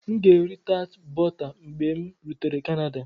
M ga-eri tart bọta mgbe m rutere Canada.